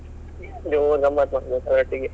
ಜೋರ್ ಗಮ್ಮತ್ ಮಾಡ್ಬೋದಿತ್ತು ಒಟ್ಟಿಗೆ.